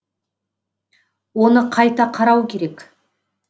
оны қайта қарау керек